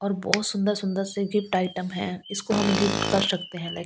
और बहुत सुंदर-सुंदर से गिफ्ट आइटम हैं इसको हम गिफ्ट कर सकते है लाइक --